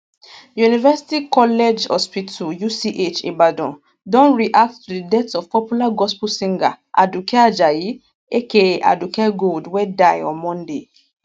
university college hospital uch ibadan don react to di death of popular gospel singer aduke ajayi aka aduke gold wey die on monday